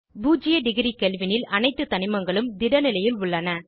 பூஜ்ஜிய degree kelvin ல் அனைத்து தனிமங்களும் திட நிலையில் உள்ளன